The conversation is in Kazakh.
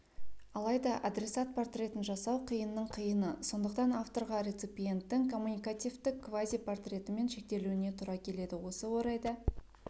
алайда адресат портретін жасау қиынның қиыны сондықтан авторға реципиенттің коммуникативтік квази-портретімен шектелуіне тура келеді осы орайда